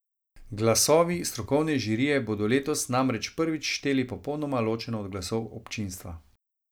Glasovi strokovne žirije bodo letos namreč prvič šteli popolnoma ločeno od glasov občinstva.